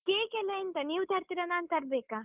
Cake ಎಲ್ಲ ಎಂತ, ನೀವ್ ತರ್ತೀರಾ ನಾನ್ ತರ್ಬೇಕಾ?